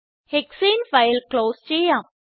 ഹെക്സാനെ file close ചെയ്യാം